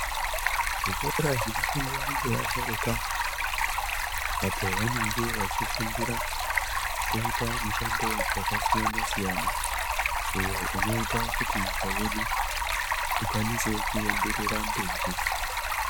Zvikora zvinofundwa ngeasharuka apo vanenge vachifundira kuita mushando wakasiyana siyana uyo unoita kuti nyika yedu ikwanise kuenderera mberi.